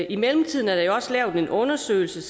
i mellemtiden er der jo også lavet en undersøgelse